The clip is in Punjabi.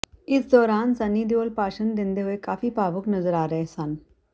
ਇਸ ਦੌਰਾਨ ਸੰਨੀ ਦਿਓਲ ਭਾਸ਼ਣ ਦਿੰਦੇ ਹੋਏ ਕਾਫੀ ਭਾਵੁਕ ਨਜ਼ਰ ਆ ਰਹੇ ਸਨ